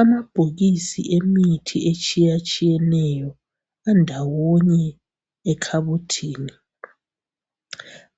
amabhokisi emithi etshiyeneyo andawone ekhabothini